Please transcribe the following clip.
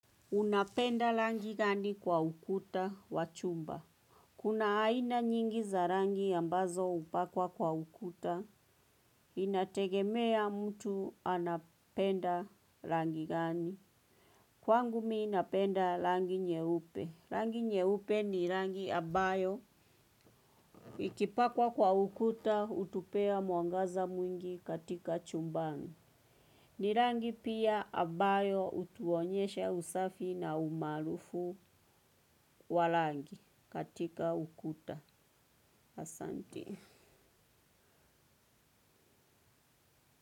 Unapenda rangi gani kwa ukuta wa chumba. Kuna aina nyingi za rangi ambazo hupakwa kwa ukuta, inategemea mtu anapenda rangi gani. Kwangu mimi napenda rangi nyeupe. Rangi nyeupe ni rangi ambayo. Ikipakwa kwa ukuta, hutupea mwangaza mwingi katika chumbani. Ni rangi pia ambayo hutuonyesha usafi na umaarufu wa rangi katika ukuta asante.